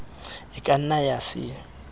e ka nna ya se